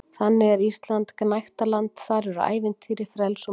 Þannig er Ísland gnægtaland- þar eru ævintýri, frelsi og matur.